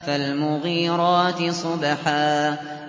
فَالْمُغِيرَاتِ صُبْحًا